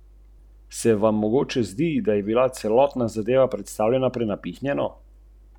Uradnica z infrastrukturnega ministrstva je zbrane tudi povabila, da naj, če toliko vedo, pridejo na ministrstvo, kjer jih bodo zaposlili.